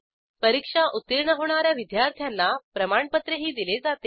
परीक्षा उत्तीर्ण होणा या विद्यार्थ्यांना प्रमाणपत्रही दिले जाते